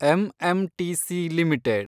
MMTC limited